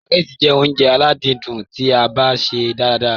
Sùpàgẹ́tì jẹ́ óúnjẹ aládìídùn tí a bá ṣè é dára ràrá.